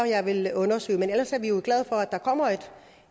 jeg vil undersøge ellers er vi jo glade for at der kommer